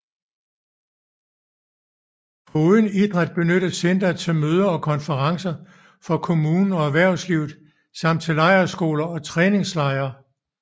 Foruden idræt benyttes centret til møder og konferencer for kommunen og erhvervslivet samt til lejrskoler og træningslejre